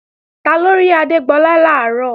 Taló rí Adégbọlá làárọ̀?